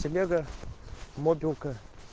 телега мобилка